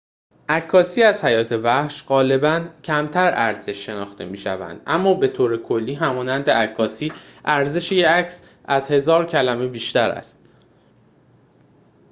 عکاسی از حیات وحش غالباً کمتر ارزش شناخته می‌شود اما به طور کلی همانند عکاسی ارزش یک عکس از هزار کلمه بیشتر است